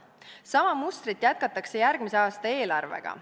Sama mustrit jätkatakse järgmise aasta eelarvega.